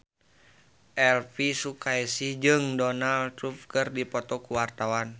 Elvi Sukaesih jeung Donald Trump keur dipoto ku wartawan